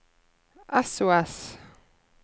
sos